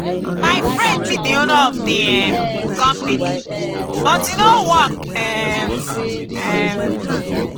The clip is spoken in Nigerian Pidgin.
my friend meet the owner of the um company but e no work um. um